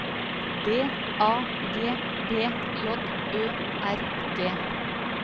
D A G B J Ø R G